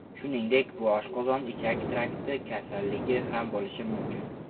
Shuningdek, bu oshqozon-ichak trakti kasalligi ham bo‘lishi mumkin.